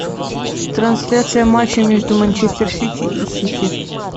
трансляция матча между манчестер сити и сити